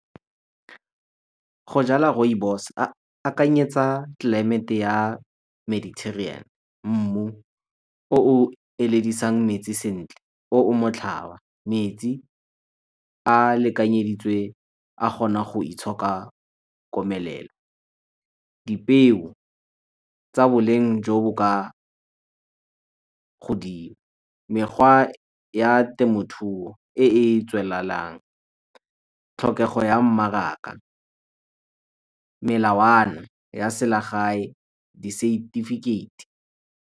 Go jala rooibos akanyetsa tlelaemete ya , mmu o o eledisang metsi sentle o o , metsi a lekanyeditswe a kgona go itshoka komelelo. Dipeo tsa boleng jo bo ka godimo, mekgwa ya temothuo e e tswelelang, tlhokego ya mmaraka, melawana ya selegae, disetifikeiti.